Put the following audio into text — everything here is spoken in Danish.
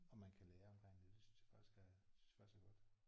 Og man kan lære omkring det. Det synes jeg faktisk er det synes jeg faktisk er godt